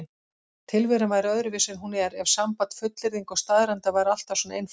Tilveran væri öðruvísi en hún er ef samband fullyrðinga og staðreynda væri alltaf svona einfalt.